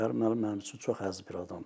Qərib müəllim mənim üçün çox əziz bir adamdır.